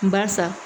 Barisa